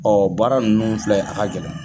baara ninnu filɛ a ka gɛlɛn.